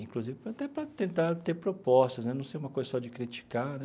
Inclusive, para até para tentar ter propostas né, não ser uma coisa só de criticar, né?